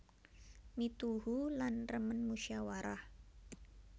Mituhu lan remen musyawarah